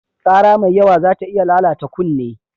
Ƙara mai yawa zata iya lalata kunne.